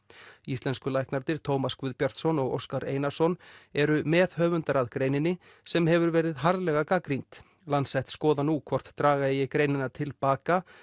íslensku læknarnir Tómas Guðbjartsson og Óskar Einarsson eru meðhöfundar að greininni sem hefur verið harðlega gagnrýnd Lancet skoðar nú hvort draga eigi greinina til baka